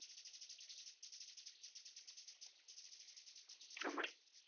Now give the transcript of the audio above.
இந்த மாதிரி.